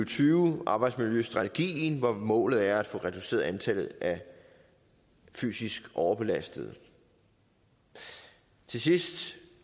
tyve arbejdsmiljøstrategien hvor målet er at få reduceret antallet af fysisk overbelastede til sidst